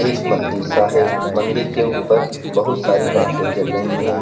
एक मंदिर सा है मंदिर के ऊपर बहुत सारी लाइटे जल रही है।